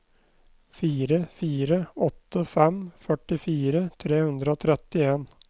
fire fire åtte fem førtifire tre hundre og trettien